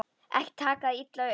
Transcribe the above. Ekki taka það illa upp.